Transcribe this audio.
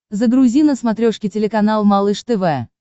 загрузи на смотрешке телеканал малыш тв